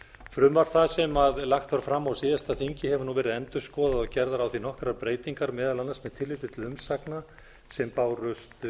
frumvarp það sem lagt var fram á síðasta þingi hefur nú verið endurskoðað og gerðar á því nokkrar breytingar meðal annars með tilliti til umsagna sem bárust